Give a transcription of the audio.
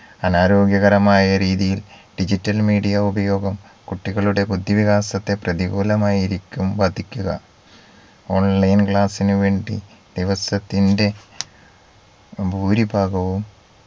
അനാരോഗ്യകരമായ രീതിയിൽ digital media ഉപയോഗം കുട്ടികളുടെ ബുദ്ധിവികാസത്തെ പ്രതികൂലമായിരിക്കും ബാധിക്കുക online class ന് വേണ്ടി ദിവസത്തിന്റെ ഭൂരിഭാഗവും